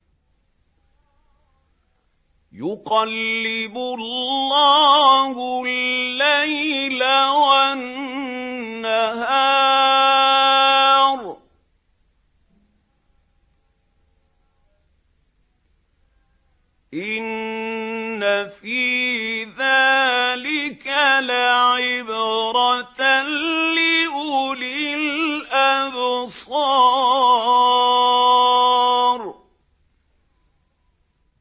يُقَلِّبُ اللَّهُ اللَّيْلَ وَالنَّهَارَ ۚ إِنَّ فِي ذَٰلِكَ لَعِبْرَةً لِّأُولِي الْأَبْصَارِ